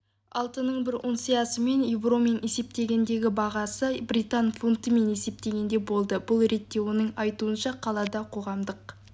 алтынның бір унциясының еуромен есептегендегі бағасы британ фунтымен есептегенде болды бұл ретте оның айтуынша қалада қоғамдық